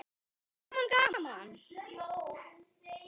Gaman gaman!